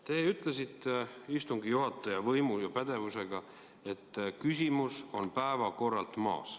Te ütlesite istungi juhataja võimu ja pädevusega, et küsimus on päevakorralt maas.